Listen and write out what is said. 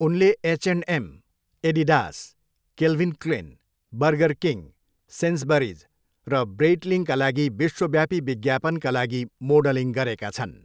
उनले H and M, Adidas, Calvin Klein, Burger King, Sainsbury's र ब्रेइटलिङका लागि विश्वव्यापी विज्ञापनका लागि मोडलिङ गरेका छन्।